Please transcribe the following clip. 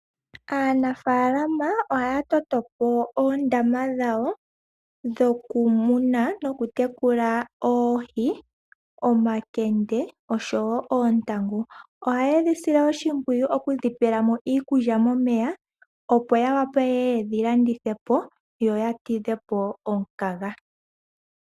Aanafalama ohaya totopo oondama dhawo dhokumuna no kutekula oohi, omakende noshowo ontangu. Ohaye dhisile wo oshipwiyu